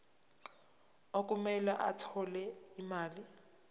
okumele athole imali